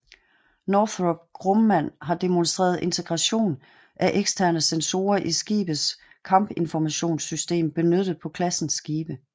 Northrop Grumman har demonstreret integration af eksterne sensorer i skibets kampinformationssystem benyttet på klassens skibe